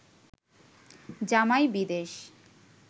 জামাই বিদেশ